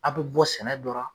Aw bɛ bɔ sɛnɛ dɔ ra.